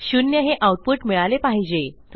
शून्य हे आऊटपुट मिळाले पाहिजे